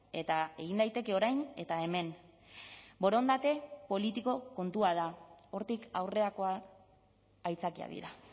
eta egin daiteke orain eta hemen borondate politiko kontua da hortik aurrerakoa aitzakiak dira